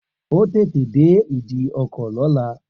O óò tètè dé ìdíkọ̀ lọ́la!